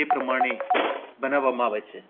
એ પ્રમાણે બનાવવામાં આવે છે.